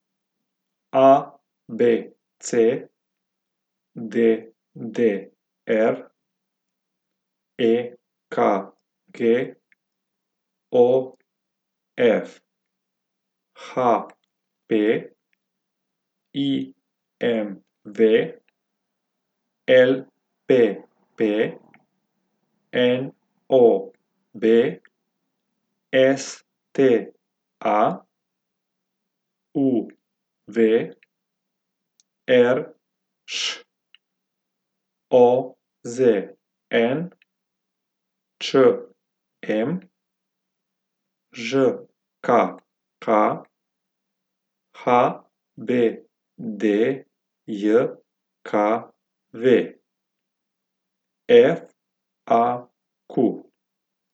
A B C; D D R; E K G; O F; H P; I M V; L P P; N O B; S T A; U V; R Š; O Z N; Č M; Ž K K; H B D J K V; F A Q.